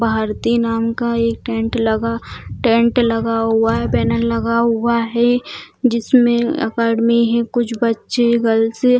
भारती नाम का एक टेंट लगा टेंट लगा हुआ है बैनर लगा हुआ है जिसमें एकेडमी है कुछ बच्चे गर्ल्स --